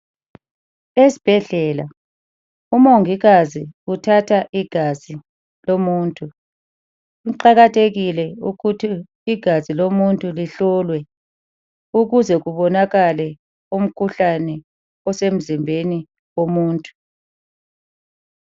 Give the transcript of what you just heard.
Esibhedlela umongikazi uthatha igazi lomuntu, kuqakathekile ukuthi igazi lomuntu lihlolwe ukuze kubonakale umkhuhlane osemzimbeni womuntu.